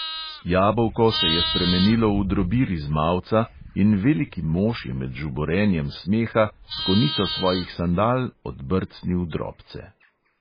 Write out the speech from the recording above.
Jabolko se je spremenilo v drobir iz mavca in veliki mož je med žuborenjem smeha s konico svojih sandal odbrcnil drobce.